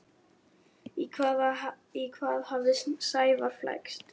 Í hvað hafði Sævar flækst?